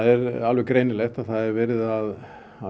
er alveg greinilegt að það er verið að